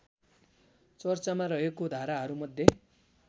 चर्चामा रहेको धाराहरूमध्ये